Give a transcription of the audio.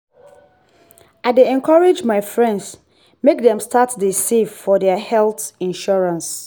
i dey encourage my friends make dem start dey save for their health insurance.